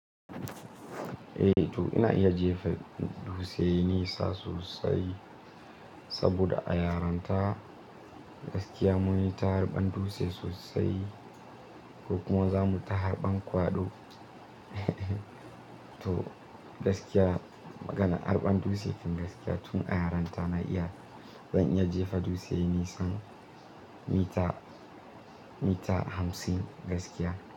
Eh to ina iya jefa dutse nisa sosai saboda a yarinta gaskiya mun yi ta harban dutse sosai ko kuma za mu ta harban kwaɗo. To gaskiya magana harban dutse don gaskiya tun a yaranta na iya zan iya jefa dutse nisan mita, mita hamsin gaskiya.